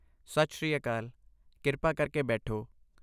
ਸਤਿ ਸ਼੍ਰੀ ਅਕਾਲ, ਕਿਰਪਾ ਕਰਕੇ ਬੈਠੋ